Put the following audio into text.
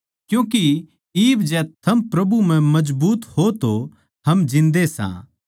क्यूँके इब जै थम प्रभु म्ह मजबूत हो तो हम जिन्दे सां